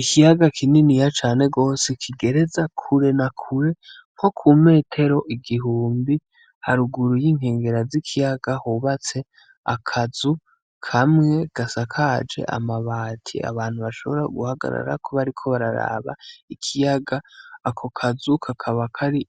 Ikiyaga kininiya cane gose kigereza kure na kure nko kumetero igihumbi, haruguru y'inkengera z'ikiyaga hubatse akazu kamwe gasakaje amabati abantu bashobora guhagarara bariko bararaba ikiyaga, ako kazi kakaba kari